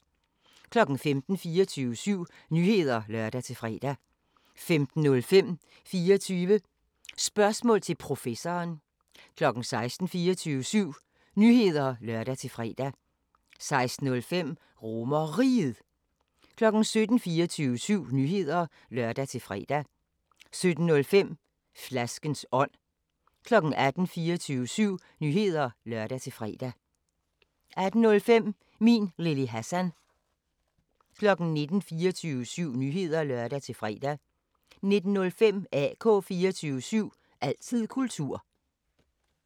15:00: 24syv Nyheder (lør-fre) 15:05: 24 Spørgsmål til Professoren 16:00: 24syv Nyheder (lør-fre) 16:05: RomerRiget 17:00: 24syv Nyheder (lør-fre) 17:05: Flaskens ånd 18:00: 24syv Nyheder (lør-fre) 18:05: Min Lille Hassan 19:00: 24syv Nyheder (lør-fre) 19:05: AK 24syv – altid kultur